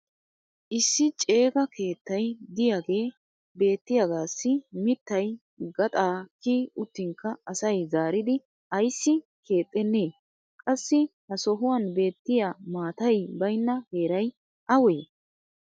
issi ceega keettay diyaagee beettiyaagaassi mittay gaxaa kiyi uttinkka asay zaaridi ayssi keexenee? qassi ha sohuwan beettiya maatay baynna heeray awee?